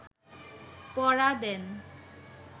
পড়া দেন